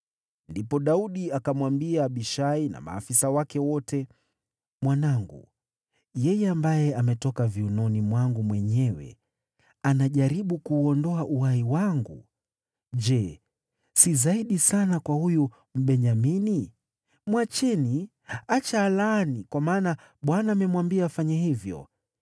Ndipo Daudi akamwambia Abishai na maafisa wake wote, “Mwanangu, yeye ambaye ametoka viunoni mwangu mwenyewe, anajaribu kuuondoa uhai wangu. Je, si zaidi sana kwa huyu Mbenyamini! Mwacheni, acha alaani, kwa maana Bwana amemwambia afanye hivyo.